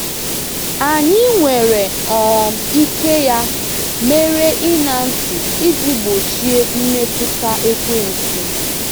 Anyị nwere um ike ya mere ịṅa ntị iji gbochie mmetụta Ekwensu.